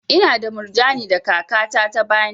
Ina da murjani da kaka ta ta bani.